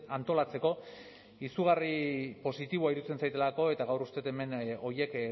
antolatzeko izugarri positiboa iruditzen zaidalako eta gaur uste dut hemen horiek